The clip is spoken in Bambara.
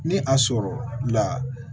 Ni a sɔrɔ la